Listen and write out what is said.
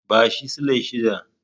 Bashi silai shida.